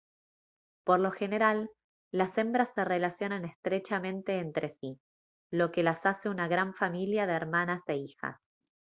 por lo general las hembras se relacionan estrechamente entre sí lo que las hace una gran familia de hermanas e hijas